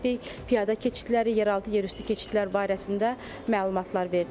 Piyada keçidləri, yeraltı, yerüstü keçidlər barəsində məlumatlar verdik.